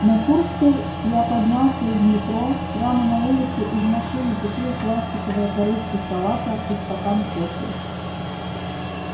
на курской я поднялся из метро прямо на улице из машины купил пластиковое корытце салата и стакан кофе